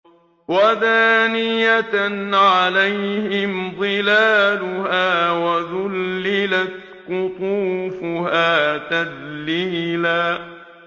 وَدَانِيَةً عَلَيْهِمْ ظِلَالُهَا وَذُلِّلَتْ قُطُوفُهَا تَذْلِيلًا